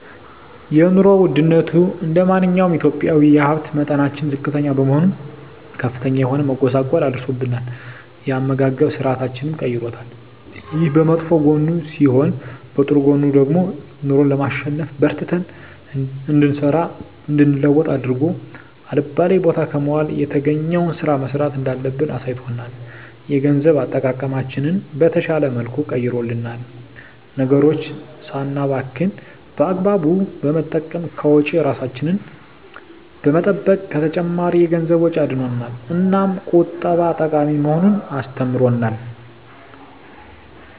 የኑሮ ወድነቱ እንደማንኛውም ኢትዮጵያዊ የሀብት መጠናችን ዝቅተኛ በመሆኑ ከፍተኛ የሆነ መጎሳቆል አድርሶብናል የአመጋገብ ስርአታችንንም ቀይሮታል። ይሄ በመጥፎ ጎኑ ሲሆን በጥሩ ጎኑ ደግሞ ኑሮን ለማሸነፍ በርትተን እንድንሰራ እንድንለወጥ አድርጎ አልባሌ ቦታ ከመዋል የተገኘዉን ስራ መስራት እንዳለብን አሳይቶናል። የገንዘብ አጠቃቀማችንን በተሻለ መልኩ ቀይሮልናል ነገሮችን ሳናባክን በአግባቡ በመጠቀም ከወጪ እራሳችንን በመጠበቅ ከተጨማሪ የገንዘብ ወጪ አድኖናል። እናም ቁጠባ ጠቃሚ መሆኑን አስተምሮናል።